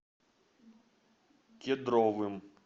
кедровым